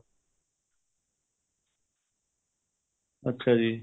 ਅੱਛਾ ਜੀ